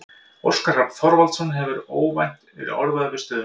Óskar Hrafn Þorvaldsson hefur einnig óvænt verið orðaður við stöðuna.